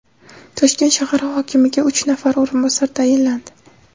Toshkent shahar hokimiga uch nafar o‘rinbosar tayinlandi.